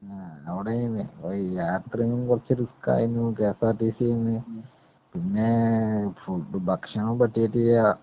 ങാ, അവിടെ ഈ യാത്ര കുറച്ചു റിസ്ക്‌ ആയിരുന്നു.കെഎസ്ആര്‍ടിസിന്ന്. പിന്നെ ഫുഡും, ഭക്ഷണം പറ്റിയിട്ടില്ല.